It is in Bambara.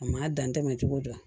A ma dan tɛmɛn cogo di